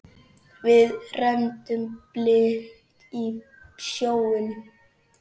Við renndum blint í sjóinn.